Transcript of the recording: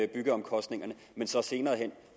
byggeomkostningerne men så senere hen